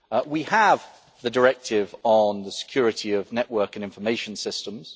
We have the Directive on the Security of Network and Information Systems.